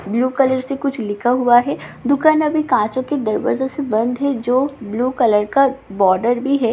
Blue colour से कुछ लिखा हुआ है दुकान अभी कांचो के दरवाजे से बंद है जो ब्‍लू कलर का बॉर्डर भी है।